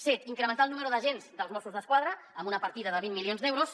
set incrementar el nombre d’agents dels mossos d’esquadra amb una partida de vint milions d’euros